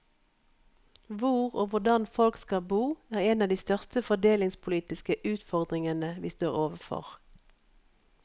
Hvor og hvordan folk skal bo er en av de største fordelingspolitiske utfordringene vi står overfor.